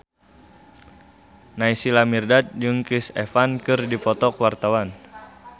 Naysila Mirdad jeung Chris Evans keur dipoto ku wartawan